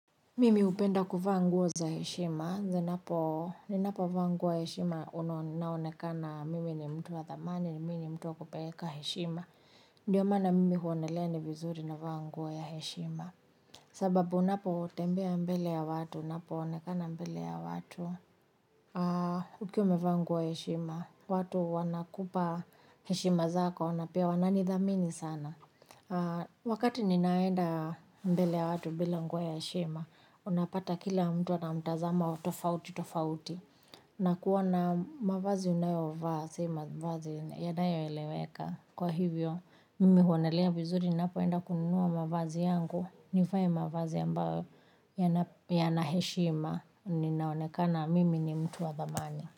Mimi hupenda kuvaa nguo za heshima, zinapo ninapovaa nguo ya heshima naonekana mimi ni mtu wa thamani ni mimi ni mtu wa kupeleka heshima. Ndiyo mana mimi huonelea ni vizuri navaa nguo ya heshima. Sababu unapotembea mbele ya watu, unapoonekana mbele ya watu, ukiwa umevaa nguo ya heshima. Watu wanakupa heshima zako, na pia wananithamini sana. Wakati ninaenda mbele ya watu bila nguo ya heshima unapata kila mtu ana mtazamo wa tofauti tofauti. Nakuwa na mavazi unayovaa si, mavazi yanayoeleweka. Kwa hivyo, mimi huonelea vizuri napoenda kununua mavazi yangu. Nivae mavazi ambayo yana heshima. Ninaonekana mimi ni mtu wa thamani.